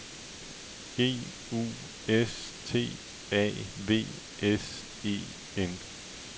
G U S T A V S E N